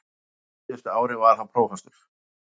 Síðustu árin var hann prófastur.